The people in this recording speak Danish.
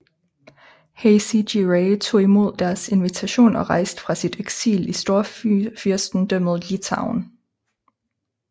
Hacı Giray tog imod deres invitation og rejste fra sit eksil i Storfyrstendømmet Litauen